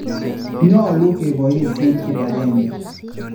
Nyolu keposihen kipagenge